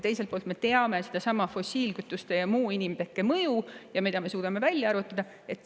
Teiselt poolt me teame fossiilkütuste ja muude inimtekkelist mõju, mida me suudame välja arvutada.